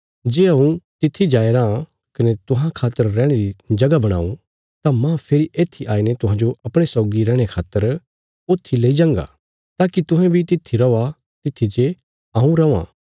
जे हऊँ तित्थी जाया राँ कने तुहां खातर रैहणे री जगह बणाऊं तां माह फेरी येत्थी आईने तुहांजो अपणे सौगी रैहणे खातर ऊत्थी लेई जांगा ताकि तुहें बी तित्थी रौआ तित्थी जे हऊँ रौआं